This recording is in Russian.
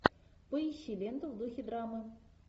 поищи ленту в духе драмы